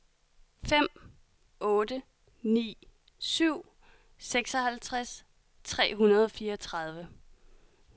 fem otte ni syv seksoghalvtreds tre hundrede og fireogtredive